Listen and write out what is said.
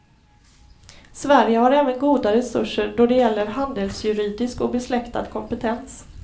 Sverige har även goda resurser då det gäller handelsjuridisk och besläktad kompetens.